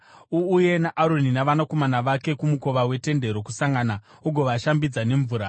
“Uuye naAroni navanakomana vake kumukova weTende Rokusangana ugovashambidza nemvura.